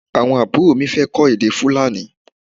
Awọn aburo mi fẹ kọ èdè Fulani